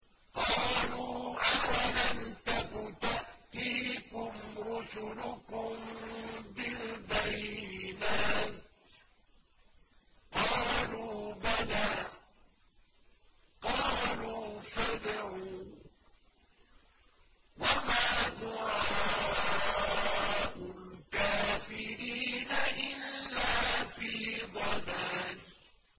قَالُوا أَوَلَمْ تَكُ تَأْتِيكُمْ رُسُلُكُم بِالْبَيِّنَاتِ ۖ قَالُوا بَلَىٰ ۚ قَالُوا فَادْعُوا ۗ وَمَا دُعَاءُ الْكَافِرِينَ إِلَّا فِي ضَلَالٍ